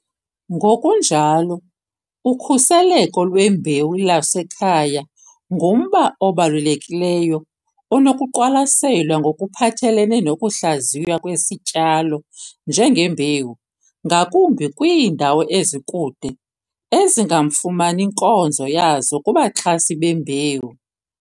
Ngokunjalo, ukhuseleko lwembewu lwasekhaya ngumba obalulekileyo onokuqwalaselwa ngokuphathelene nokuhlaziywa kwesityalo njengembewu, ngakumbi kwiindawo ezikude ezingamfumani nkonzo yazo kubaxhasi bembewu.